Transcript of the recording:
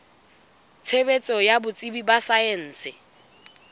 tshebetso ya botsebi ba saense